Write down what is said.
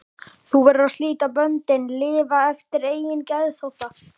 Þú verður að slíta böndin, lifa eftir eigin geðþótta.